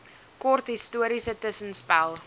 kort historiese tussenspel